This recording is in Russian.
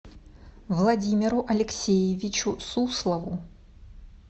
владимиру алексеевичу суслову